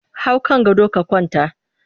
Hau kan gado ka kwanta!